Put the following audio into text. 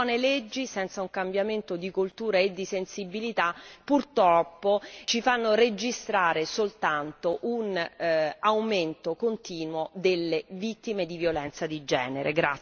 Buone leggi senza un cambiamento di cultura e di sensibilità purtroppo ci fanno registrare soltanto un aumento continuo delle vittime di violenza di genere.